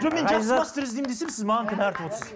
жоқ мен жақсы мастер іздеймін десем сіз маған кінә артып отырсыз